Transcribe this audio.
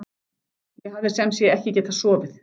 Ég hafði sem sé ekki getað sofið.